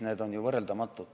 Need on ju võrreldamatud.